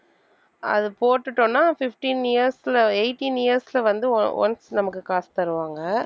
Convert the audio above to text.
அது போட்டுட்டோம்னா fifteen years ல eighteen years ல வந்து on~ once நமக்கு காசு தருவாங்க.